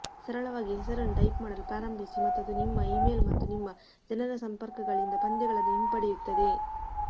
ಸರಳವಾಗಿ ಹೆಸರನ್ನು ಟೈಪ್ ಮಾಡಲು ಪ್ರಾರಂಭಿಸಿ ಮತ್ತು ಅದು ನಿಮ್ಮ ಇಮೇಲ್ ಮತ್ತು ನಿಮ್ಮ ಜನರ ಸಂಪರ್ಕಗಳಿಂದ ಪಂದ್ಯಗಳನ್ನು ಹಿಂಪಡೆಯುತ್ತದೆ